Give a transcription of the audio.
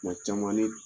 Tuma caman ne